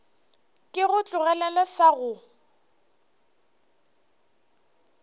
ke go tlogelele sa go